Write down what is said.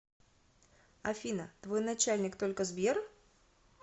афина твой начальник только сбер